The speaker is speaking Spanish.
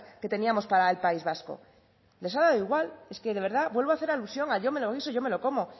que teníamos para el país vasco les ha dado igual es que de verdad vuelvo a hacer alusión a yo me lo guiso yo me lo como